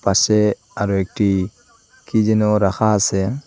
পাশে আরো একটি কী যেন রাখা আসে।